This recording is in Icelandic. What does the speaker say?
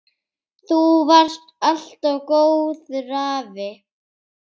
Þú varst alltaf góður afi.